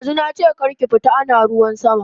Dazu nache kar ki fita ana ruwan sama